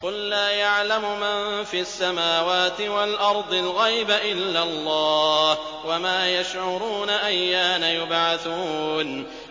قُل لَّا يَعْلَمُ مَن فِي السَّمَاوَاتِ وَالْأَرْضِ الْغَيْبَ إِلَّا اللَّهُ ۚ وَمَا يَشْعُرُونَ أَيَّانَ يُبْعَثُونَ